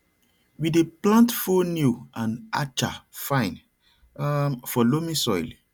we dey plant fonio and acha fine um for loamy soil